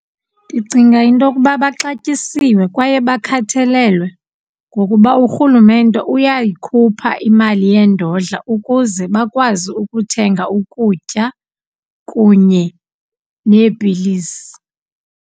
Ndicinga into yokuba baxatyisiwe kwaye bakhathalelwe ngokuba urhulumemte uyayikhupha imali yendodla ukuze bakwazi ukuthenga ukutya kunye neepilisi.